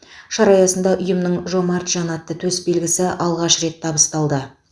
шара аясында ұйымның жомарт жан атты төсбелгісі алғаш рет табысталды